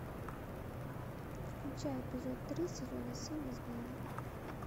включай эпизод три сезона семь измены